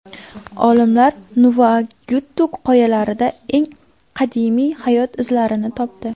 Olimlar Nuvvuagittuk qoyalarida eng qadimiy hayot izlarini topdi.